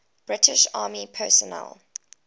british army personnel